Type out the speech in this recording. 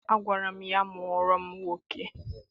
Agwara m ya, mụọrọ m nwoke!